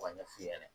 K'o ɲɛ f'u ɲɛna